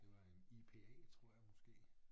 Det var en ipa tror jeg måske